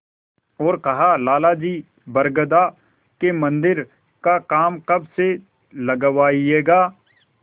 और कहालाला जी बरगदा के मन्दिर का काम कब से लगवाइएगा